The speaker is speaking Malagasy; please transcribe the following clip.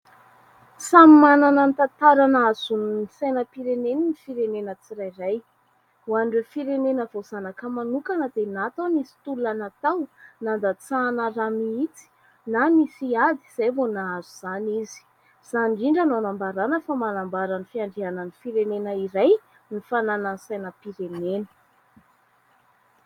Samy manana ny tantara nahazoany ny sainam-pireneny ny firenena tsirairay. Ho an'ireo firenena voazanaka manokana dia na tao nisy tolona natao, nandatsahana rà mihitsy na nisy ady izay vao nahazo izany izy. Izany indrindra no hanambarana fa manambara ny fiandrianan'ny firenena iray ny fananany sainam-pirenena.